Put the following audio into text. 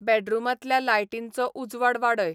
बॅडरूमांतल्या लायटींचो उजवाड वाडय